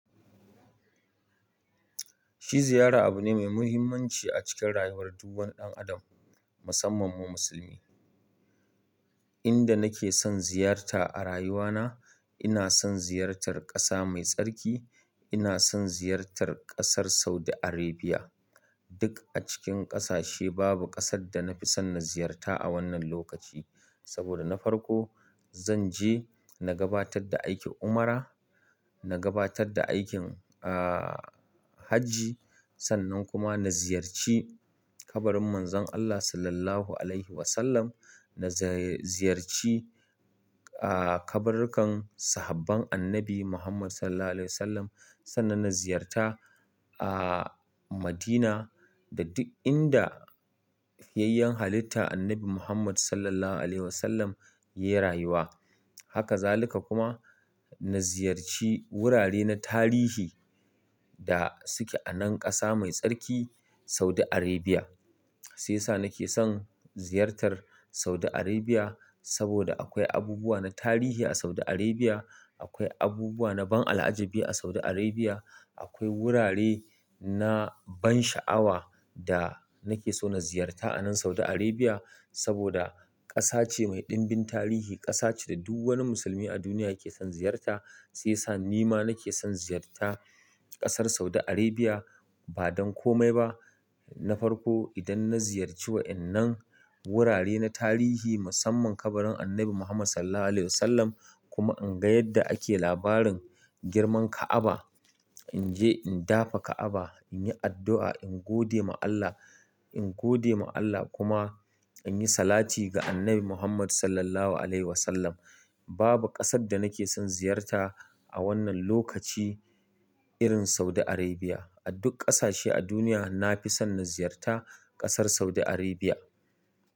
Shi ziyara abu ne mai muhimmanci a cikin rayuwar duk wani ɗan adam musamman mu musulmi. Inda nake son ziyarta a rayuwana, ina son ziyartar ƙasa mai tsarki, ina son ziyartar ƙasar Saudi Arabia. Duk a cikin ƙasashe babu ƙasar da na fi son na ziyarta a wannan lokaci saboda na farko zanje na gabatar da aikin ummara, na gabatarvda aikin hajji sannan kuma na ziyarci kabarin Manzon Allah Sallallahu Alaihi Wasallam, na za-ziyarci ah kaburkan sahabban Annabi Muhammad Sallallahu Alaihi Wasallam, sannan na ziyarta ah Madina da duk inda yayyan halitta Annabi Muhammad Sallallahu Alaihi Wasallam ya rayuwa. Haka zalika kuma na ziyarci wurare na tarihi da suke a nan ƙasa mai tsarki Saudi Arabia. Sai sa nake son ziyartar Saudi Arabia saboda akwai abubuwa na tarihi a Saudi Arabia, akwai abubuwa na ban al'ajabi a Saudi Arabia, akwai wurare na ban sha'awa da nake so na ziyarta a nan Saudi Arabia saboda ƙasa ce mai ɗimbin tarihi, ƙasa ce da duk wani musulmi a duniya ya ke son ziyarta. Sai sa nima nake son ziyarta ƙasar Saudi Arabia ba don komai ba. Na farko idan na ziyarce wa'innan wurare na tarihi musamman kabarin Annabi Muhammad Sallallahu Alaihi Wasallam kuma in ga yadda ake labarin girman Ka'aba. In je in dafa Ka'aba, in yi addu'a, in gode ma Allah, in gode ma Allah kuma in yi salati ga Annabi Muhammad Sallallahu Alaihi Wasallam. Babu ƙasar da nake son ziyarta a wannan lokaci irin Saudi Arabia. A duk ƙasashe a duniya na fi son na ziyarta ƙasar Saudi Arabia.